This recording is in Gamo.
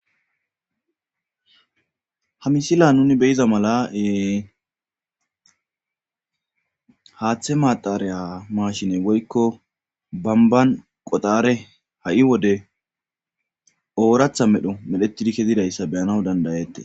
ha misilen nuni beyiza mala ee haaththe maaxareya mashine woykko bamban qoxare ha'i wode ooratha medho medhetidi kezidayssa beyanaw dandayettes